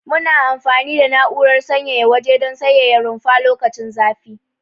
Muna amfani da na'urar sanyaya waje don sanyaya rumfa lokacin zafi.